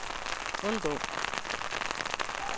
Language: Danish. undgå